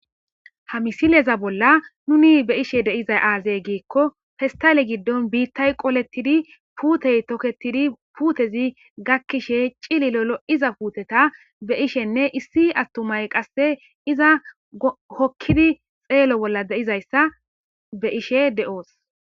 ha misileza bolla nuni be ishe deizay aazey giikko festale giddon biittay qolettidi puutey toketidi puutezi gakkishe cililolo iza puuteta be ishenne issi attumay qasse iza hokkidi xeelo bolla deizayssa be ishe de7oos